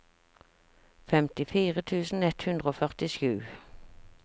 femtifire tusen ett hundre og førtisju